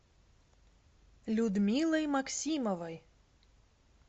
людмилой максимовой